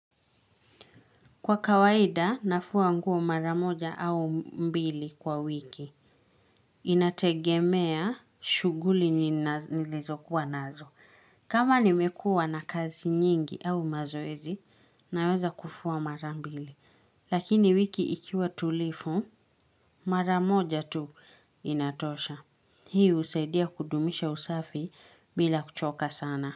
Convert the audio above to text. Kwa kawaida, nafua nguo mara moja au mbili kwa wiki. Inategemea shughuli nilizokuwa nazo. Kama nimekuwa na kazi nyingi au mazoezi, naweza kufua mara mbili. Lakini wiki ikiwa tulivu, mara moja tu inatosha. Hii husaidia kudumisha usafi bila kuchoka sana.